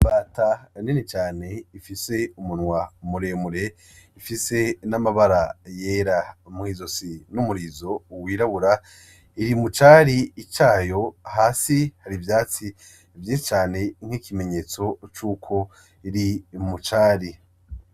Imbata nini cane ifise umunwa muremure, ifise n'amabara yera mw'izosi n'umubiri w'irabura, iri mu cari cayo, hasi hari ivyatsi vyinshi cane nk'ikimenyetso ko iri mu cari.